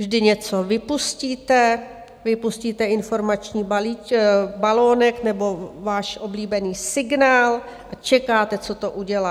Vždy něco vypustíte, vypustíte informační balonek nebo váš oblíbený signál a čekáte, co to udělá.